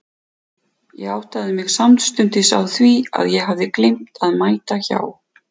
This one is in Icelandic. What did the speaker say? Ég áttaði mig samstundis á því að ég hafði gleymt að mæta hjá